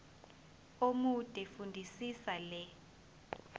omude fundisisa le